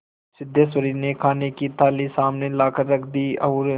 सिद्धेश्वरी ने खाने की थाली सामने लाकर रख दी और